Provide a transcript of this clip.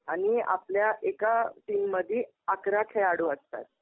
आणि आपल्या एका टीममधी अकरा खेळाडू असतात.